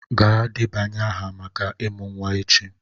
Gaa debanye aha maka ịmụ nwa echi!